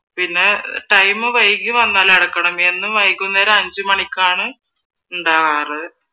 time വൈകി വന്നാൽ അടക്കണം എന്നും വൈകുന്നേരം അഞ്ചുമണിക്കാണ് ഉണ്ടാവാറ്